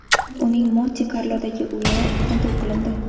Uning Monte-Karlodagi uyi tintuv qilindi.